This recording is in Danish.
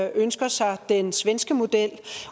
ønsker sig en svenske model